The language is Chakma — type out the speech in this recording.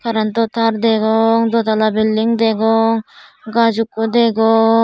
karentto tar degong do tala belding degong gaz ekko degong.